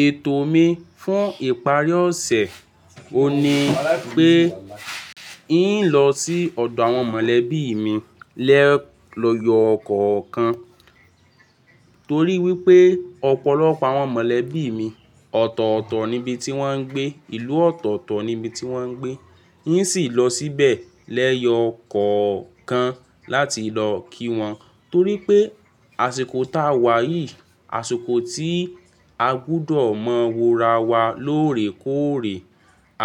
Ètò mi fún ìparí ọ̀sẹ̀, òní wípé, n ó lọ sí ọ̀dọ̀ àwọn mọ̀lẹ́bí mi lẹ́yọ kọ̀ kan. Torí wípé ọ̀pọ̀lọpọ̀ àwọn mọ̀lẹ́bí mi ọ̀tọ̀ọ̀tọ̀ nibi tí wón ń gbé, ìlú ọ̀tọ̀ọ̀tọ̀ níbi tí wón ń gbé. N ó sì lọ síbẹ̀ lẹ́yọ kọ̀ kan láti lọ kí won. Torí pé àsìkò ta wà yìí, àsìkò tí a gbúdọ̀ mọ wora wa lóore kóòreè,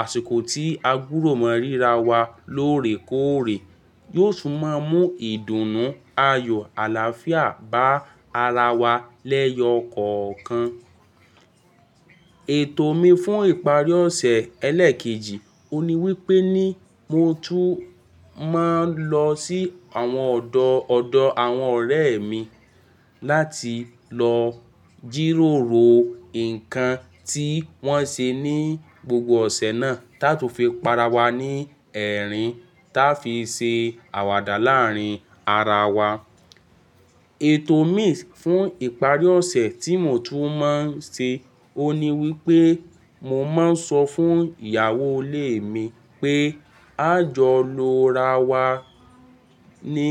àsìkò tí a gbúdọ̀ mọ ríra wa lóòrè kóòrè, yóò tún máa mú ìdùnnú ayọ̀ àlàáfíà bá ara wa lẹ́yọ kọ ọ kan. Ètò mi fún ìparí ọ̀sẹ̀ ẹlẹ́ẹ̀kejì, òní wípé ní mo tún máa ń lọ sí àwọn ọ̀dọ̀ ọ̀dọ̀ àwọn ọ̀rẹ́ mi láti lọ jìròrò nǹkan tí wón ṣe ní gbogbo ọ̀sẹ̀ náà, táa tún fi para wa ní ẹ̀rín, táa fi ṣe àwàdà láàrin ara wa. Ètò mi fún ìparí ọ̀sẹ̀ tí mo tún máa ń ṣe, òhun ni wípé mo máa ń sọ fún ìyàwó ilé mi pé, a jọ lọ ra wa ní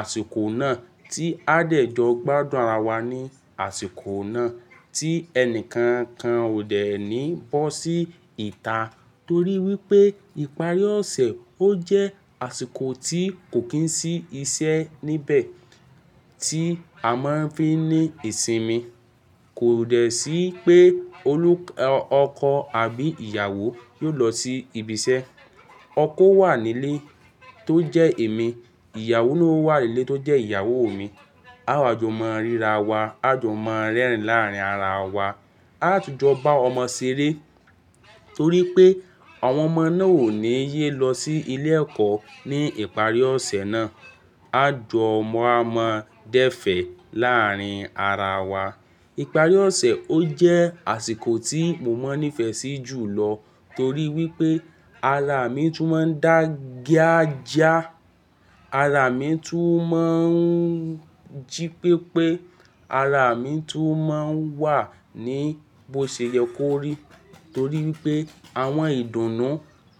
àsìkò náà tí a dẹ̀ jọ gbádùn ara wa ní àsìkò náà, tí ẹnìkan kan ò dẹ̀ ní bọ́ sí ìta. Torí wípé ìparí ọ̀sẹ̀ ó jẹ́ àsìkò tí kò kín sí iṣẹ́ níbẹ̀ tí a máa ń fi ní ìsinmi. Kò dẹ̀ sí pé olú ọkọ àbí ìyàwó yóò lọ sí ibi iṣẹ́. Ọkọ ó wà nílé tó jẹ́ èmi, ìyàwó na ó wà nílé tó jẹ́ ìyàwó mi. A jọ máa ń ríra wa, a jọ máa ń rẹ́rìn ín láàrin ara wa. A tún jọ bá ọmọ ṣeré torí pé àwọn ọmọ náà ò ní ye lọ sí ilé ẹ̀kọ́ ní ìparí ọ̀sẹ̀ náà. A jọ máa ń máa dẹ́fẹ̀ẹ́ láàrin ara wa. Ìparí ọ̀sẹ̀ ó jẹ́ àsìkò tí mo máa ń nífẹ̀ẹ́ sí jùlọ torí wípé ara mi tún máa ń dàgà jíá, ara mi tún máa ń jí pépé, ara mi tún máa ń wà ní bóṣẹ̀yẹ kórí. Torí wípé àwọn ìdùnnú,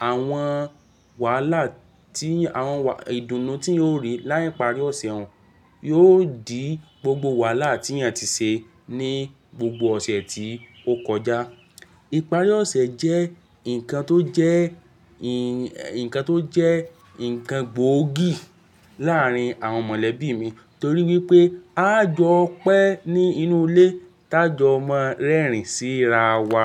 àwọn wàhálà tí, àwọn ìdùnnú tí yóò rí ní ìparí ọ̀sẹ̀ òun, yóò dì gbogbo wàhálà tí èèyàn ti ṣe ní gbogbo ọ̀sẹ̀ tí ó kọjá. Ìparí ọ̀sẹ̀ jẹ́ nǹkan tó jẹ́, nǹkan tó jẹ́ nǹkan gbóògì láàrin àwọn mọ̀lẹ́bí mi torí wípé a jọ pẹ́ ní inú ilé, táa jọ máa ń rẹ́rìn síra wa.